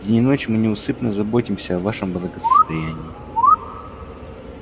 день и ночь мы неусыпно заботимся о вашем благосостоянии